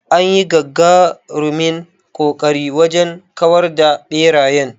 Anyi gagarumin ƙoƙari wajen kawar da ɓerayen.